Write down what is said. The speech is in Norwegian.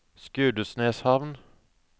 Skudeneshavn